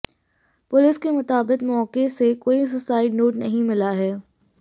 police के मुताबिक मौके से कोई सुसाइड नोट नहीं मिला है